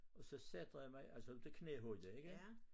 Og så sætter jeg mig altså op til knæhøjde ikke